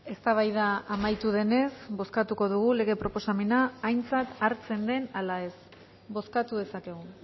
eztabaida amaitu denez bozkatuko dugu lege proposamena aintzat hartzen den ala ez bozkatu dezakegu